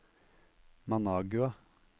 Managua